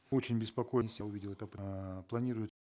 очень я увидел это э планируют